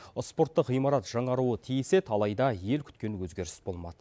спорттық ғимарат жаңаруы тиіс еді алайда ел күткен өзгеріс болмады